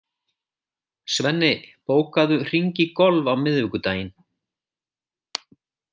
Svenni, bókaðu hring í golf á miðvikudaginn.